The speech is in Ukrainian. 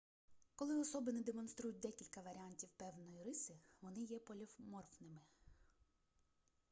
коли особини демонструють декілька варіантів певної риси вони є поліморфними